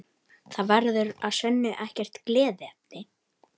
Það verður að sönnu ekkert gleðiefni